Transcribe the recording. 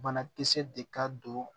Banakisɛ de ka don